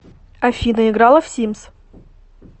афина играла в симс